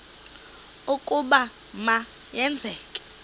ukuba ma yenzeke